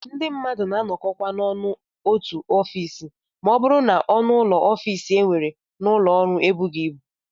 Ndị mmadụ na-anọkọkwa ọnụ n'otu ofiisi ma ọ bụrụ na ọnụụlọ ofiisi e nwere n'ụlọọrụ ebughị ibu